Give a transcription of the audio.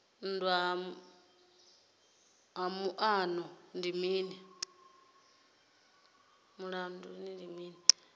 nndwa ya muṱani ndi mini